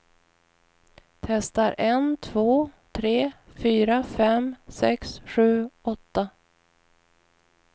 Testar en två tre fyra fem sex sju åtta.